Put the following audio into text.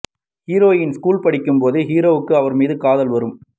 heroine school படிக்கும் போதே ஹீரோக்கு அவர் மீது காதல் வரும்